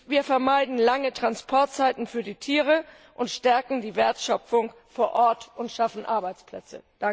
Wir vermeiden lange Transportzeiten für die Tiere und stärken die Wertschöpfung vor Ort und schaffen damit Arbeitsplätze.